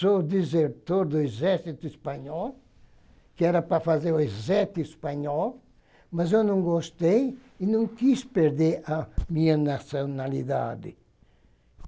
Sou desertor do exército Espanhol, que era para fazer o exército Espanhol, mas eu não gostei e não quis perder a minha nacionalidade.